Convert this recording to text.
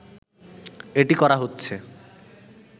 এটি করা হচ্ছে